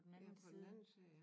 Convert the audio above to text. Ja på den anden side ja